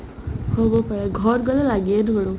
হ'ব পাৰে ঘৰত গ'লে লাগিয়ে ধৰো